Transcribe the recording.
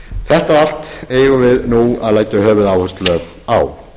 þetta allt eigu við nú að leggja höfuðáherslu á